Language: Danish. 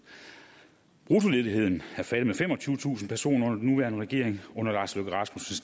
bruttoledigheden er faldet med femogtyvetusind personer under den nuværende regering under lars løkke rasmussens